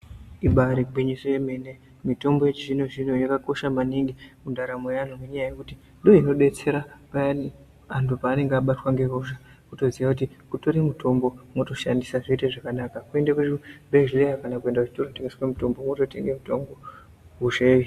Ibari gwinyiso yemene mitombo yechizvino zvino yakakosha maningi mundaramo yeanhu ngenyaya yekuti ndiyo inobetsera payani antu pavanenge vabatwa ngehosha kutoziya kuti kutore mitombo wotoshandisa zvoite zvakanaka kuende kuzvibhehlera kana kuenda kunotengeswa mitombo wototenga mitombo.